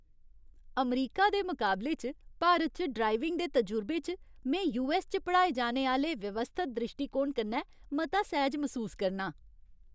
अमरीका दे मुकाबले च भारत च ड्राइविंग दे तजुर्बे च, में यूऐस्स च पढ़ाए जाने आह्‌ले व्यवस्थत द्रिश्टीकोण कन्नै मता सैह्ज मसूस करनां।